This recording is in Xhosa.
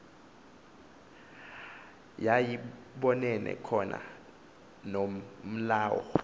yayibonene khona nomlawu